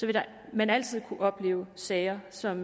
vil man altid kunne opleve sager som